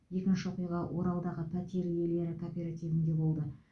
екінші оқиға оралдағы пәтер иелері кооперативінде болды